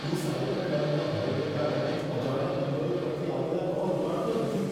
હું સાયબર ક્રાઇમના ભયને કારણે અજાણ્યા નંબરો પરથી આવેલા કોલ ઉપાડતો નથી.